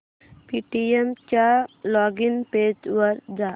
Paytm च्या login page वर जा